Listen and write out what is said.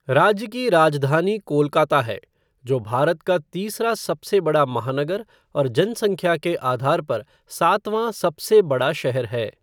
राज्य की राजधानी कोलकाता है, जो भारत का तीसरा सबसे बड़ा महानगर और जनसंख्या के आधार पर सातवाँ सबसे बड़ा शहर है।